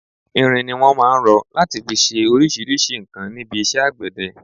Irin ni wọn máà ń rọ láti fi ṣe oríṣríṣi nǹkan níbi iṣẹ́ àgbẹ̀dẹ.